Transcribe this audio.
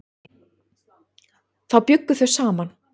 Þá bjuggu þau saman.